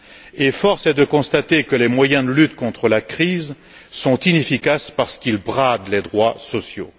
Et force est de constater que les moyens de lutte contre la crise sont inefficaces parce qu'ils bradent les droits sociaux.